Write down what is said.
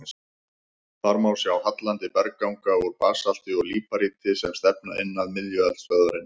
Þar má sjá hallandi bergganga úr basalti og líparíti sem stefna inn að miðju eldstöðvarinnar.